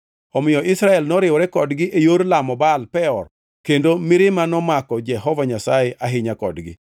Omiyo Israel noriwore kodgi e yor lamo Baal mar Peor. Kendo mirima nomako Jehova Nyasaye ahinya kodgi.